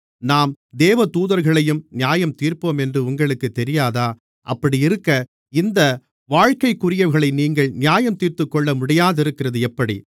நாம் தேவதூதர்களையும் நியாயந்தீர்ப்போமென்று உங்களுக்குத் தெரியாதா அப்படியிருக்க இந்த வாழ்க்கைக்குரியவைகளை நீங்கள் நியாயந்தீர்த்துக்கொள்ளமுடியாதிருக்கிறது எப்படி